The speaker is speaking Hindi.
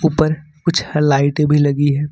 ऊपर कुछ लाइटें भी लगी हैं।